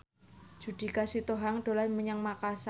Judika Sitohang dolan menyang Makasar